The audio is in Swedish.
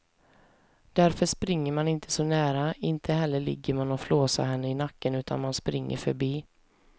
Därför springer man inte så nära, inte heller ligger man och flåsar henne i nacken utan man springer förbi.